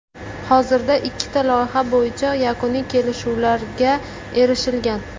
Hozirda ikkita loyiha bo‘yicha yakuniy kelishuvlarga erishilgan.